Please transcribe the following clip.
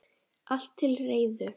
Allt til reiðu.